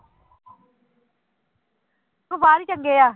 ਚੰਗੇ ਆ